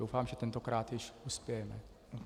Doufám, že tentokrát již uspějeme.